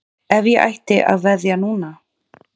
Ef ég ætti að veðja núna?